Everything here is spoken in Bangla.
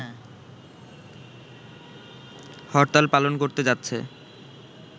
হরতাল পালন করতে যাচ্ছে